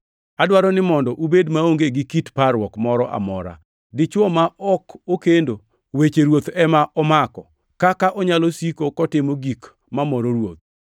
Adwaro ni mondo ubed maonge gi kit parruok moro amora. Dichwo ma ok okendo, weche Ruoth ema omako, kaka onyalo siko kotimo gik mamoro Ruoth,